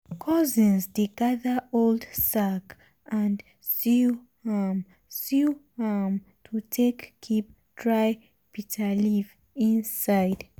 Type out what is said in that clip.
cousins dey gather old sack and sew am sew am to take keep dry bitterleaf inside.